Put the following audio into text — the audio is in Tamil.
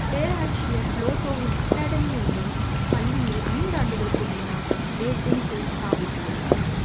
பேராசிரியர் புளோடோவின் academy எனும் பள்ளியில் ஐந்து ஆண்டுகளுக்கு முன்னர் ஏதென்ஸில் சாப்பித்துள்ளார்